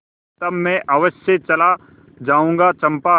तब मैं अवश्य चला जाऊँगा चंपा